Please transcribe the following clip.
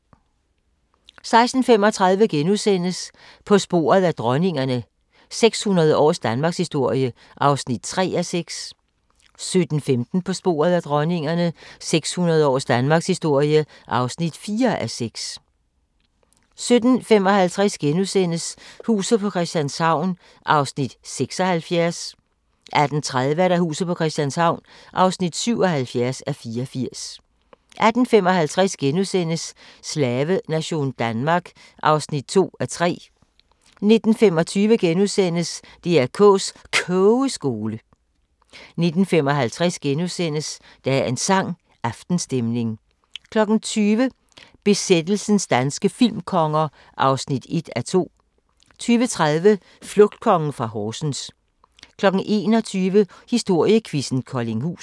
16:35: På sporet af dronningerne – 600 års danmarkshistorie (3:6)* 17:15: På sporet af dronningerne – 600 års Danmarkshistorie (4:6) 17:55: Huset på Christianshavn (76:84)* 18:30: Huset på Christianshavn (77:84)* 18:55: Slavenation Danmark (2:3)* 19:25: DR K's Kogeskole * 19:55: Dagens sang: Aftenstemning * 20:00: Besættelsens danske filmkonger (1:2) 20:30: Flugtkongen fra Horsens 21:00: Historiequizzen: Koldinghus